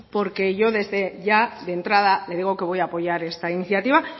porque yo ya de entrada le digo que voy a apoyar esta iniciativa